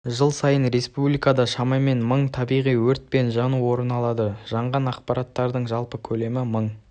жыл сайын республикада шамамен мың табиғи өрт пен жану орын алады жанған алқаптардың жалпы көлемі мың